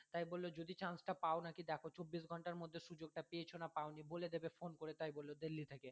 তাই বললো যদি chance টা পাও নাকি দেখো চব্বিশ ঘণ্টার মধ্যে সুযোগ টা পেয়েছো না পাওনি বলে দেবে phone করে তাই বললো যে দিল্লি থেকে